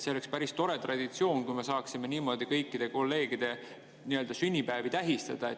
See oleks päris tore traditsioon, kui me saaksime niimoodi kõikide kolleegide sünnipäevi tähistada.